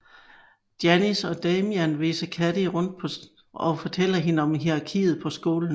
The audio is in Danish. Janis og Damian viser Cady rundt og fortæller hende om hierarkiet på skolen